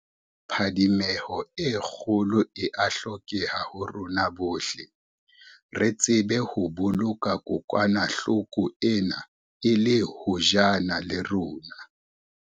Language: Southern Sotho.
Phadimeho e kgolo e a hlokeha ho rona bohle, re tsebe ho boloka kokwanahlo ko ena e le hojana le rona.